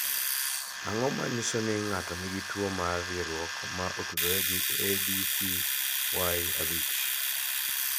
Ang�o ma nyiso ni ng�ato nigi tuo mar rieruok ma otudore gi ADCY5 ?